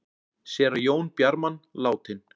Séra Jón Bjarman látinn